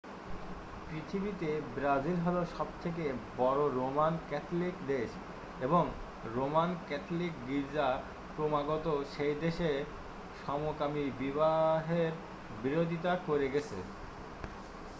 পৃথিবীতে ব্রাজিল হল সবথেকে বড় রোমান ক্যাথলিক দেশ এবং রোমান ক্যাথলিক গির্জা ক্রমাগত সেই দেশে সমকামী বিবাহের বিরোধিতা করে গেছে